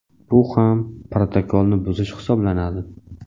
bu ham protokolni buzish hisoblanadi.